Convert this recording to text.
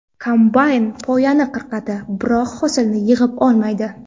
Kombayn poyani qirqadi, biroq hosilni yig‘ib olmaydi.